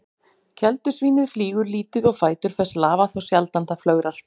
Keldusvínið flýgur lítið og fætur þess lafa þá sjaldan það flögrar.